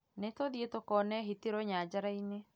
Nĩtũthiĩ tũkone hiti rũnyanjara-inĩ